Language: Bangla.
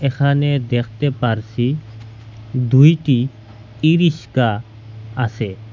এখানে দেখতে পারসি দুইটি ই রিস্কা আসে।